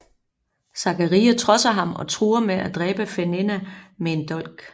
Zaccaria trodser ham og truer med at dræbe Fenena med en dolk